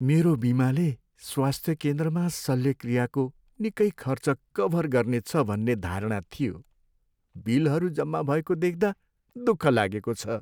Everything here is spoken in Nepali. मेरो बिमाले स्वास्थ्य केन्द्रमा शल्यक्रियाको निकै खर्च कभर गर्नेछ भन्ने धारणा थियो। बिलहरू जम्मा भएको देख्दा दुःख लागेको छ।